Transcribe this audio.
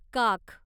काख